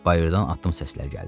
Bayırdan addım səsləri gəldi.